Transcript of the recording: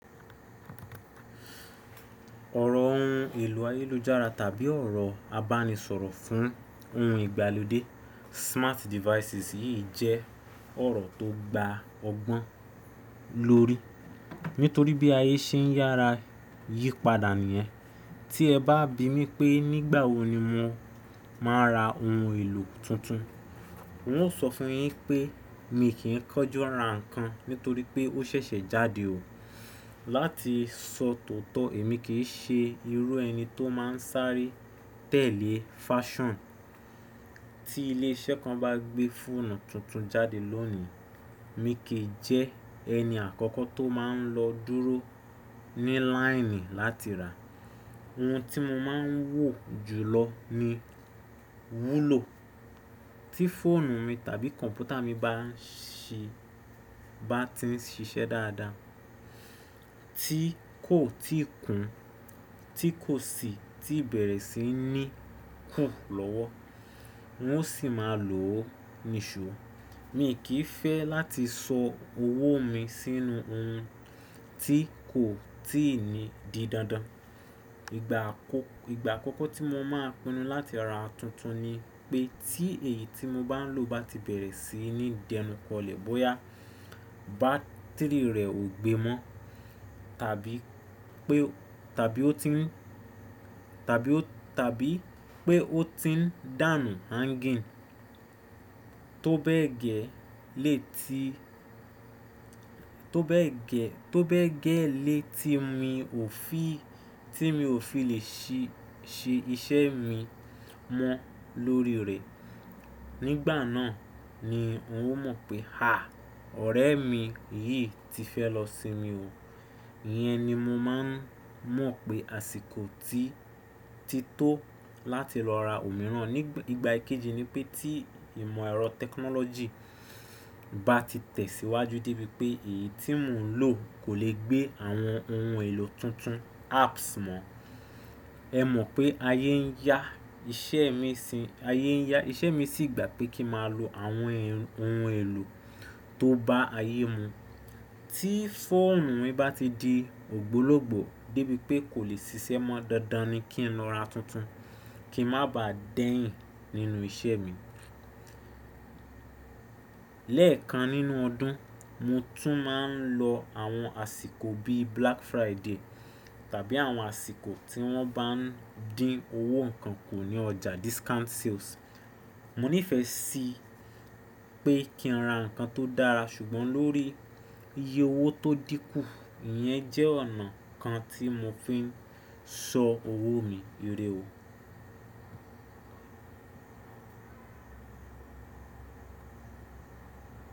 Ọ̀rọ̀ ohun èlò ayélujára tàbí ọ̀rọ̀ abánisọ̀rọ̀ fún ohun ìgbàlódé smart devices yìí jẹ́ ọ̀rọ̀ tó gba ọgbọ́n lórí. Nítorí bí ayé ṣe ń yára yípadà nìyẹn. Tí ẹ bá bi mí pé nígbà wo ni mo máa ra ohun èlò tuntun. N ó sọ fún yín pé mi kì í kánjú ra nǹkan nítorí pé ó ṣẹ̀ṣẹ̀ jáde o. Láti sọ tòótọ́ èmi kì í ṣe irú ẹni tó máa ń sáré tẹ̀lé fáṣàn Tí ilé iṣẹ́ kan bá gbé fóònù tuntun jáde lónìí, mi kì í jẹ́ ẹni àkọ́kọ́ tó máa ń lọ dúró ní láìnì láti rà á. Ohun tí mo máa ń wò jùlọ ni wúlò. Tí fóònù mi tàbí kọ̀m̀pútà mi bá ti ń ṣiṣẹ́ dáadáa, tí kò tí kún, tí kò sì tí bẹ̀rẹ̀ sí ní kù lọ́wọ́, n ó sì máa lò ó nìṣó Mi kì í fẹ́ láti sọ owó mi sínú ohun tí kò tí ì di dandan. Ìgbà àkọ́kọ́ tí mo máa pinnu láti ra tuntun ni pé tí èyí tí mo bá ń lò bá ti bẹ̀rẹ̀ sí ní dẹnukọlẹ̀ bóyá bátìrì rẹ̀ ò gbe mọ́ tàbí pé ó ti ń dànù hanging tó bẹ́ẹ̀ gẹ́lẹ́ tí mi ò fi lè ṣe iṣẹ́ mi mọ́ lórí rẹ̀. Nígbà náà ni n ó mọ̀ pé à, ọ̀rẹ́ mi yìí ti fẹ́ lọ sinmi o. Iyẹn ni mo máa ń mọ̀ pé àsìkò ti tó láti lọ ra òmíràn. Ìgbà kejì ni pé tí ìmọ̀ ẹ̀rọ tẹkinọ́lọ́jì bá ti tẹ̀síwájú débi pé èyí tí mò ń lò kò lè gbé àwọn ohun èlò tuntun apps mọ́. Ẹ mọ̀ pé ayé ń yá, iṣẹ́ mi sì gba pé kí máa lo àwọn ohun èlò tó bá ayé mu. Tí fóònù mi bá ti di ògbólógbòó débi pé kò lè ṣiṣẹ́ mọ́ dáadáa ni kí n lọ ra tuntun kí n má bà dẹ́yìn nínú iṣẹ́ mi. Lẹ́ẹ̀kan nínú ọdún, mo tún máa ń lo àwọn àsìkò bí Black Friday tàbí àwọn àsìkò tí wọ́n bá ń dín owó nǹkan kù ní ọjà discount sales. Mo nífẹ̀ẹ́ sí pé kí n ra nǹkan tó dára ṣùgbọ́n lórí iye owó tó dínkù. Iyẹn jẹ́ ọ̀nà kan tí mo fi ń sọ owó mi ire o.